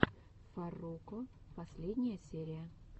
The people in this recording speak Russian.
фарруко последняя серия